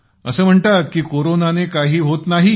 असं म्हणतात का की कोरोनाने काही होत नाही